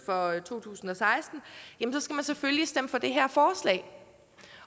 for to tusind og seksten skal man selvfølgelig stemme for det her forslag